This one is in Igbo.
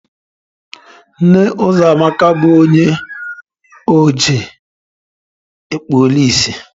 Nna Uzoamaka bu onye oji, ekpula ìsì